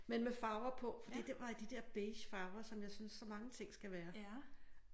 Men med farver på fordi den var i de der beige farver som jeg synes så mange ting skal være